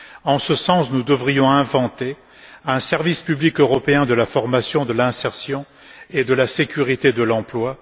En ce sens, nous devrions inventer un service public européen de la formation, de l'insertion et de la sécurité de l'emploi.